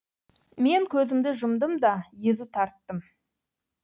мен көзімді жұмдым да езу тарттым